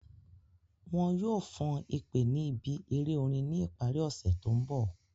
Wọn yoo fan ipè ni ibi ere orin ni ipari ose to nbọ